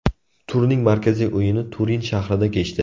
Turning markaziy o‘yini Turin shahrida kechdi.